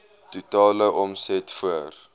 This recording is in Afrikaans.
totale omset voor